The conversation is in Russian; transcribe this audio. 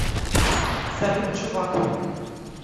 салют чувак